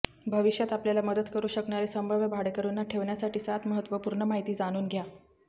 भविष्यात आपल्याला मदत करू शकणारे संभाव्य भाडेकरूंना ठेवण्यासाठी सात महत्वपूर्ण माहिती जाणून घ्या